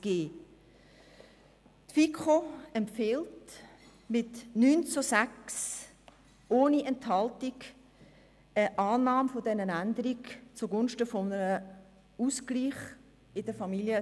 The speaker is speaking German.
Die FiKo empfiehlt mit 9 zu 6 Stimmen ohne Enthaltungen die Annahme dieser Änderung zugunsten des Ausgleichs im KFamZG.